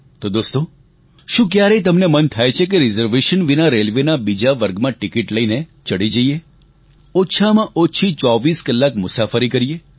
તો દોસ્તો શું ક્યારેય તમને મન થાય છે રીઝર્વેશન વિના રેલવેના બીજા વર્ગમાં ટિકીટ લઈને ચડી જઈએ ઓછામાં ઓછી 24 કલાક મુસાફરી કરીએ